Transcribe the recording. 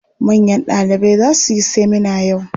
Manyan ɗalibai za su yi semina yau.